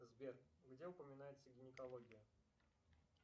сбер где упоминается гинекология